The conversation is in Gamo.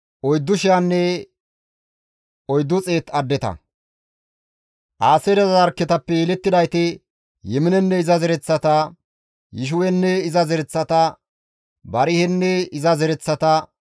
Aaseere zarkketappe yelettidayti Yiminenne iza zereththata, Yishiwenne iza zereththata, Barihenne iza zereththata,